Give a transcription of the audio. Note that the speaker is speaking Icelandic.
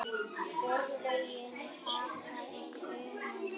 Örlögin taka í taumana